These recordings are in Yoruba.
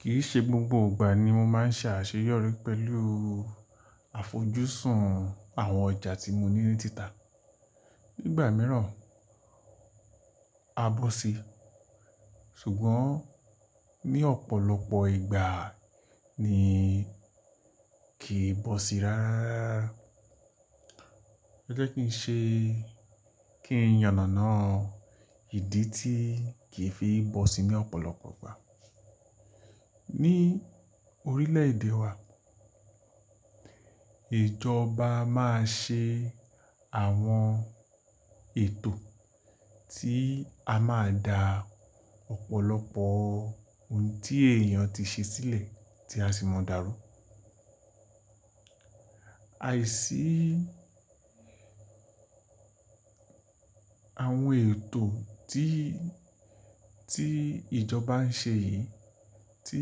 Kìí ṣe gbogbo ìgbà ni mo máa ń ṣe àṣeyọrí pẹ̀lú àfojúsùn àwọn ọjà tí mo ní ní títà. N gbà mìíràn a bọ́si, ṣùgbọ́n ní ọ̀pọ̀lọpọ̀ ìgbà ni kì í bọ́si rára rara. O jẹ́ kí n ṣe kí n yànàná ìdí tí kì í fi bọ́si ní ọ̀pọ̀lọpọ̀ gbà. Ní orílẹ̀ èdè wa, ìjọba máa ṣe àwọn ètò tí a máa dà ọ̀pọ̀lọpọ̀ hun tí èèyàn ti ṣe sílẹ̀ tí a sì mọ̀ dá rú. Aìsí àwọn ètò tí, tí ìjọba ń ṣe yìí tí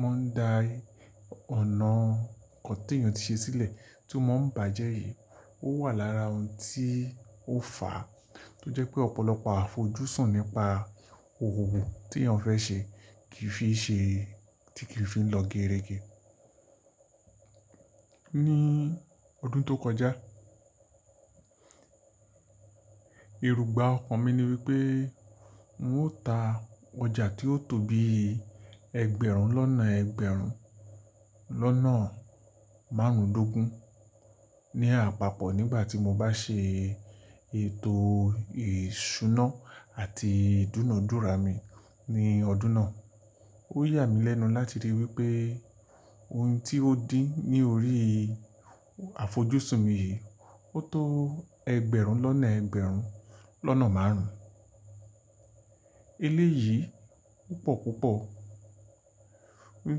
wọ́n ń da i ọ̀nà kan ti èèyàn ti ṣe sílẹ̀ tó mo ń bàjẹ́ yìí ó wà lára ohun tí ó fà á tó jẹ́ pé ọ̀pọ̀lọpọ̀ àfojúsùn nípa òwò wo tí èèyàn fẹ́ ṣe kì í fi ṣe, tí kì í fi lọ gerege. Ní ọdún tó kọjá, irúgbà ọkàn mi ni wípé n ó ta ọjà tí ó tó bi ẹgbẹ̀rún lọ́nà ẹgbẹ̀rún lọ́nà márùndógún ní apapọ̀ nígbà tí mo bá ṣe ètò ìṣúná àti ìdúnadúrà mi ní ọdún náà. Ó yà mí lẹ́nu láti rí wípé ohun tí ó din ní orí àfojúsùn mi yìí ó tó ẹgbẹ̀rún lọ́nà ẹgbẹ̀rún lọ́nà márùn. Eléyìí o pọ̀ púpọ̀. Hun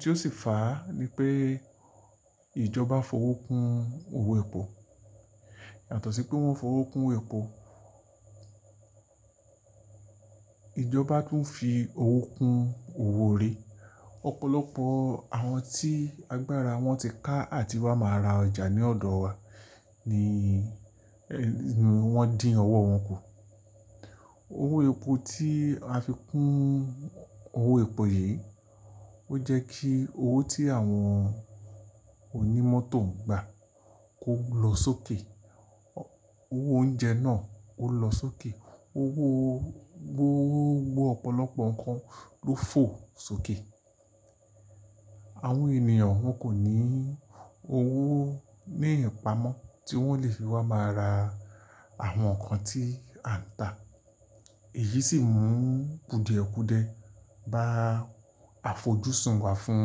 tí ó sì fà á ni pé ìjọba fowó kun owó epo. Yàtọ̀ sí pé wọ́n fowó kun epo, ìjọba tún fi owó kun owó orí. Ọ̀pọ̀lọpọ̀ àwọn tí agbára wọn ti ká àti wá máa ra ọjà ní ọ̀dọ̀ wa ni wọ́n dín ọwọ́ wọn kù. Owó epo tí a fi kun owó epo yìí ó jẹ́ kí owó tí àwọn onímọ́tò ń gbà kó lọ sókè. Owó oúnjẹ náà ó lọ sókè. Owó, gbo owó, gbo ọ̀pọ̀lọpọ̀ nǹkan ló fò sókè. Àwọn ènìyàn wọn kò ní owó ní ìpamọ́ tí wọ́n lè fi wá máa ra àwọn nǹkan tí a ń tà. Èyí sì mú kùdìẹ̀kùdìẹ bá àfojúsùn wa fún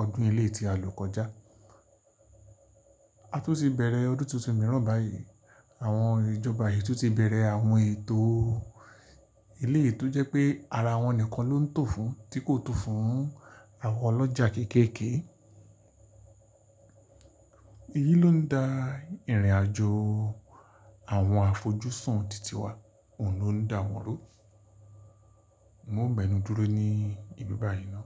ọdún eleyii tí a lọ kọjá. A tun ti bẹ̀rẹ̀ ọdún tuntun mìíràn báyìí, àwọn ìjọba yìí tun ti bẹ̀rẹ̀ àwọn ètò o. Éleyii to jẹ́ pé ara wọn nìkan ló ń tò fún tí kò tò fún àwọn ọlọ́jà kékèkè. Èyí ló ń da ìrìnàjò àwọn àfojúsùn tìtì wa, òun ló ń dá wọn rú. Mo ń bẹnu dúró ní ìlú báyìí ná.